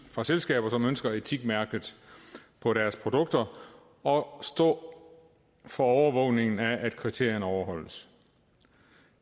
fra selskaber som ønsker etikmærket på deres produkter og står for overvågningen af at kriterierne overholdes